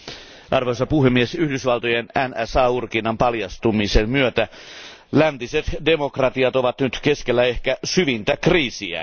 Arvoisa puhemies, Yhdysvaltojen NSA urkinnan paljastumisen myötä läntiset demokratiat ovat nyt keskellä ehkä syvintä kriisiään.